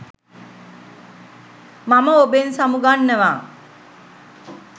මම ඔබෙන් සමු ගන්නවා.